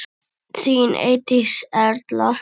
Þín Eydís Erla.